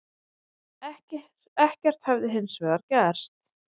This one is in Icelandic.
Ekkert hefði hins vegar gerst